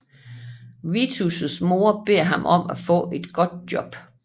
Vitos mor beder ham om at få et godt job